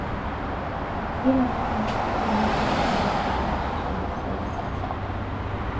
Ironya ene peiteng'ena inkumok naipirta mosaicism.